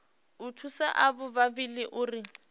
u thusa avho vhavhili uri